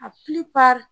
A